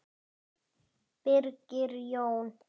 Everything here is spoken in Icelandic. Birgir Jón.